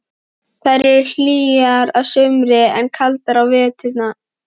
Þær eru hlýjar að sumri en kaldar á vetrum.